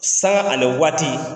Sanŋa ani waati.